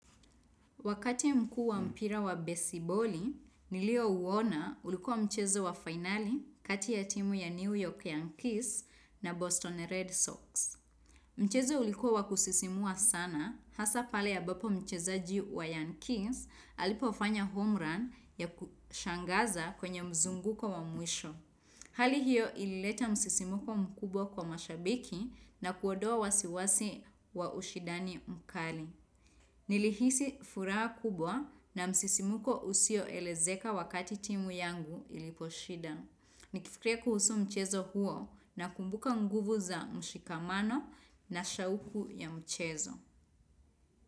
Wakati mkuu wa mpira wa besiboli, nilio uona ulikuwa mchezo wa finali kati ya timu ya New York Yankees na Boston Red Sox. Mchezo ulikuwa wa kusisimua sana, hasa pale ambapo mchezaji wa Yankees alipofanya home run ya kushangaza kwenye mzunguko wa mwisho. Hali hiyo ilileta msisimuko mkubwa kwa mashabiki na kuodoa wasiwasi wa ushidani mkali. Nili hisi furaha kubwa na msisimuko usio elezeka wakati timu yangu iliposhida. Nikifikria kuhusu mchezo huo na kumbuka nguvu za mshikamano na shauku ya mchezo.